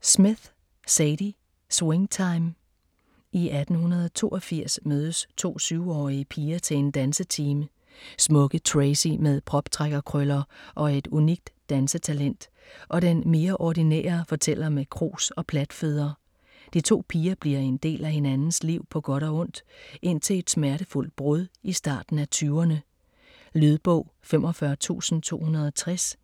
Smith, Zadie: Swing time I 1982 mødes to 7-årige piger til en dansetime; Smukke Tracey med proptrækkerkrøller og et unikt dansetalent og den mere ordinære fortæller med krus og platfødder. De to piger bliver en del af hinandens liv på godt og ondt indtil et smertefuldt brud i starten af 20'erne. Lydbog 45260